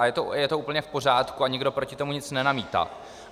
A je to úplně v pořádku a nikdo proti tomu nic nenamítá.